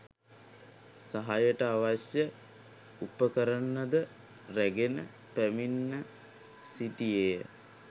සහායට අවශ්‍ය උපකරණද රැගෙන පැමිණ සිටියේය.